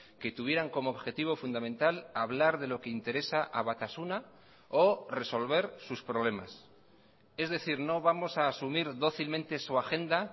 que tuvieran como objetivo fundamental hablar de lo que interesa a batasuna o resolver sus problemas es decir no vamos a asumir dócilmente su agenda